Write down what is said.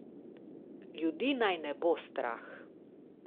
Ljudi naj ne bo strah.